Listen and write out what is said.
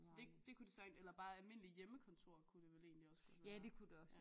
Så det det kunne det eller bare almindeligt hjemmekontor kunne det vel egentlig også godt være